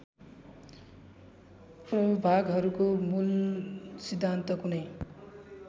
प्रभागहरूको मूलसिद्धान्त कुनै